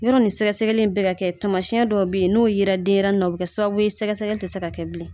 Yɔrɔ ni sɛgɛsɛgɛli n bɛ ka kɛ tamasiyɛn dɔw bɛ yen n'o yera denɲɛrɛnin na o bɛ kɛ sababu ye sɛgɛsɛgɛli tɛ se ka kɛ bilen